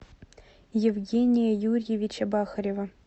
евгения юрьевича бахарева